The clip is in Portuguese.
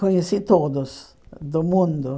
Conheci todos do mundo.